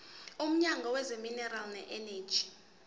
womnyango wezamaminerali neeneji